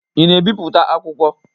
Ị na-ebipụta akwukwọ?